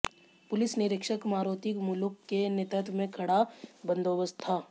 police निरीक्षक मारोती मुलुक के नेतृत्व में कड़ा बंदोबस्त था